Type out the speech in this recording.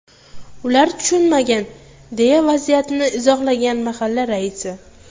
Ular tushunmagan”, deya vaziyatni izohlagan mahalla raisi.